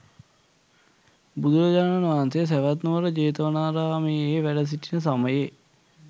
බුදුරජාණන් වහන්සේ සැවැත්නුවර ජේතවනාරාමයේ වැඩ සිටින සමයේ